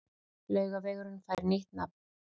Laugavegurinn fær nýtt nafn